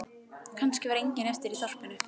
Kannski var enginn eftir í þorpinu.